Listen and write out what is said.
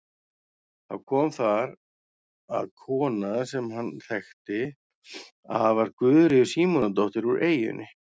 Þá kom þar að kona sem hann þekkti að var Guðríður Símonardóttir úr eyjunni.